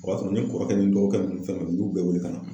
O ya sɔrɔ ne kɔrɔkɛ ni dɔw kɛ nunnu bɛɛ wele ka na.